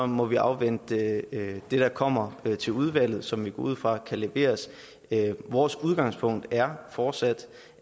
må vi afvente det der kommer til udvalget og som vi går ud fra kan leveres vores udgangspunkt er fortsat